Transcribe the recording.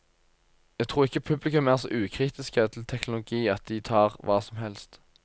Jeg tror ikke publikum er så ukritiske til teknologi at de tar hva som helst.